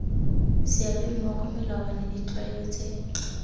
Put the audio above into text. seabe mmogo melawana ditlwaelo tse